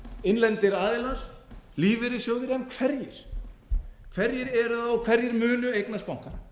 innlendir aðilar lífeyrissjóðir en hverjir hverir eru það og hverjir munu eignast bankana